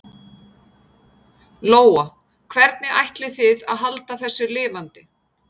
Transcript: Lóa: Hvernig ætlið þið að halda þessu lifandi?